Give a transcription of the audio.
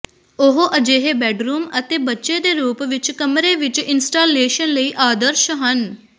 ਉਹ ਅਜਿਹੇ ਬੈੱਡਰੂਮ ਅਤੇ ਬੱਚੇ ਦੇ ਰੂਪ ਵਿੱਚ ਕਮਰੇ ਵਿੱਚ ਇੰਸਟਾਲੇਸ਼ਨ ਲਈ ਆਦਰਸ਼ ਹਨ